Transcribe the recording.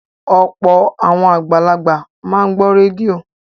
Ọ̀pọ̀ àwọn àgbàlagbà máa ń gbọ́ rédíò